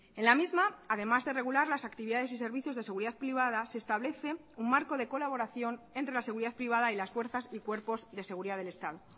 en la misma además de regular las actividades y servicios de seguridad privada se establece un marco de colaboración entre la seguridad privada y las fuerzas y cuerpos de seguridad del estado